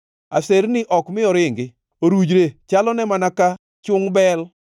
Aserni ok mi oringi; orujre chalone mana ka chungʼ bel.